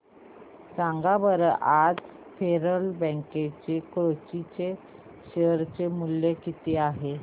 सांगा बरं आज फेडरल बँक कोची चे शेअर चे मूल्य किती आहे